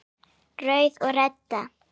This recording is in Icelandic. Rauður og Redda